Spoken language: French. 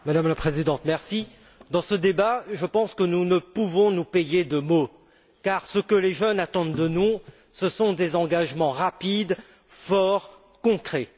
Madame la Présidente, dans ce débat, je pense que nous ne pouvons nous payer de mots car ce que les jeunes attendent de nous, ce sont des engagements rapides, forts et concrets.